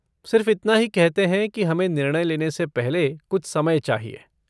सिर्फ़ इतना ही कहते हैं कि हमें निर्णय लेने से पहले कुछ समय चाहिए।